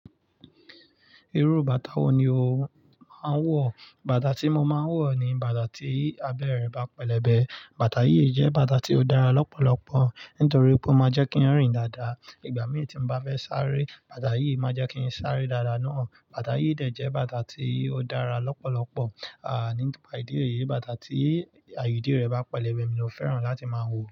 Irú bàtà wo ni o máa ń wọ̀? Bàtà tí mo máa ń wọ̀ ni bàtà tí abẹ́rẹ́ bá pẹlẹbẹ. Bàtà yìí jẹ́ bàtà tí ó dára lọ́pọ̀lọpọ̀ nítorí pé ó máa ń jẹ́ kí n rìn dáadáa. Ìgbà mii tí n bá fẹ́ sáré, bàtà yìí máa jẹ́ kí n sáré dáadáa náà. Bàtà yìí dẹ̀ jẹ́ bàtà tí ó dára lọ́pọ̀lọpọ̀, à nípa ìdí èyí, bàtà tí àyè ìdí rẹ̀ bá pẹlẹbẹ mi ló fẹ́ràn láti máa ń wọ̀.